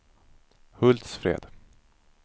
Hultsfred